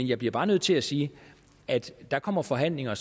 jeg bliver bare nødt til at sige at der kommer forhandlinger